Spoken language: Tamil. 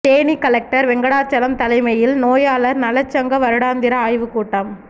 தேனி கலெக்டர் வெங்கடாசலம் தலைமையில் நோயாளர் நலச் சங்க வருடாந்திர ஆய்வுக் கூட்டம்